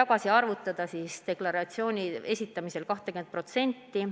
tagasi arvutada 20%.